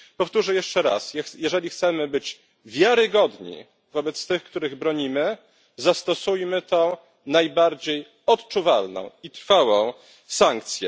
Powtórzę jeszcze raz jeżeli chcemy być wiarygodni wobec tych, których bronimy, zastosujmy tę najbardziej odczuwalną i trwałą sankcję.